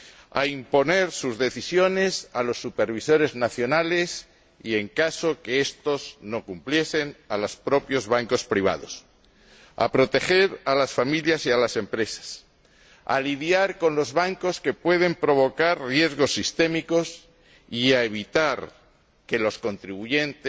para imponer sus decisiones a los supervisores nacionales y, en caso de que estos no las cumpliesen, a los propios bancos privados, para proteger a las familias y a las empresas, para lidiar con los bancos que pueden provocar riesgos sistémicos y para evitar que los contribuyentes